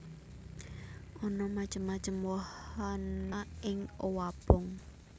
Ana macem macem wahana ing owabong